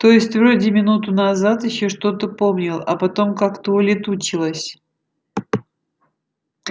то есть вроде минуту назад ещё что-то помнил а потом как-то улетучилось